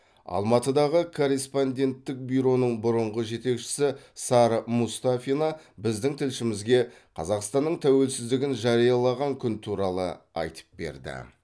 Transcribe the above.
алматыдағы корреспонденттік бюроның бұрынғы жетекшісі сара мұстафина біздің тілшімізге қазақстанның тәуелсіздігін жариялаған күн туралы айтып берді